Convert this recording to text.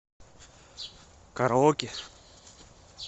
караоке